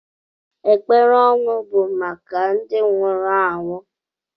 Ekpere ọnwụ bụ maka ndị nwụrụ anwụ.